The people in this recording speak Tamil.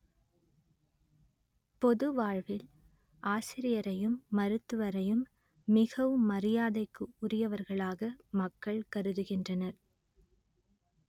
பொது வாழ்வில் ஆசிரியரையும் மருத்துவரையும் மிகவும் மரியாதைக்கு உரியவர்களாக மக்கள் கருதுகின்றனர்